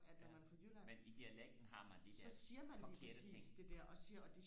men i dialekten har man de der forkerte ting